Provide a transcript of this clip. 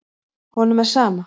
Honum er sama.